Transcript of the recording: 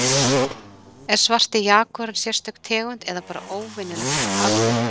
Er svarti jagúarinn sérstök tegund eða bara óvenjulegt afbrigði?